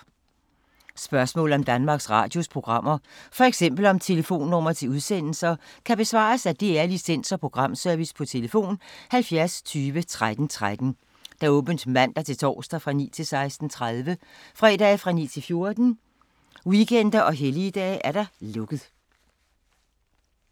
Spørgsmål om Danmarks Radios programmer, f.eks. om telefonnumre til udsendelser, kan besvares af DR Licens- og Programservice: tlf. 70 20 13 13, åbent mandag-torsdag 9.00-16.30, fredag 9.00-14.00, weekender og helligdage: lukket.